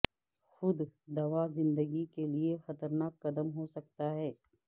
خود دوا زندگی کے لیے خطرناک قدم ہو سکتا ہے